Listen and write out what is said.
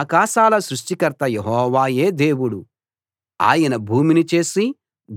ఆకాశాల సృష్టికర్త యెహోవాయే దేవుడు ఆయన భూమిని చేసి